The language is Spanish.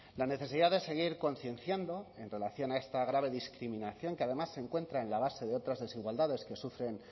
la necesidad de seguir concienciando en relación a esta grave discriminación que además se encuentra en la base de otras desigualdades que sufren